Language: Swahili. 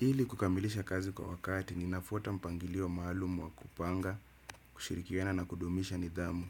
Ili kukamilisha kazi kwa wakati ninafuata mpangilio maalumu wa kupanga, kushirikiana na kudumisha nidhamu.